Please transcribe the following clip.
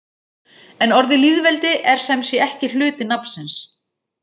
En orðið lýðveldi er sem sé ekki hluti nafnsins.